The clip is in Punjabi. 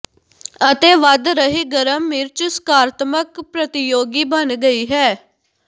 ਅਤੇ ਵਧ ਰਹੀ ਗਰਮ ਮਿਰਚ ਸਕਾਰਾਤਮਕ ਪ੍ਰਤੀਯੋਗੀ ਬਣ ਗਈ ਹੈ